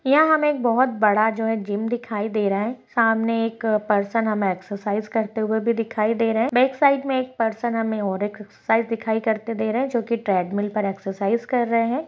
यहां हमे एक बहुत बड़ा जो है जिम दिखाई दे रहा है सामने एक पर्सन हमे एक्सरसाइज करते हुए भी दिखाई दे रहे है बैकसाइड में एक पर्सन हमे और एक एक्सरसाइज दिखाई करते दे रहा है जो की ट्रेडमिल पर एक्सरसाइज कर रहे है।